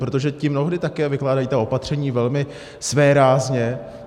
Protože ti mnohdy také vykládají ta opatření velmi svérázně.